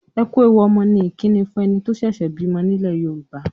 "Ẹ ku ewu ọmọ" ni ìkíni fún ẹni tó ṣẹ̀ṣẹ̀ bímọ nílẹ̀ Yorùbá.